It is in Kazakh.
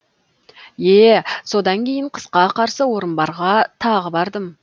е е содан кейін қысқа қарсы орынбарға тағы бардым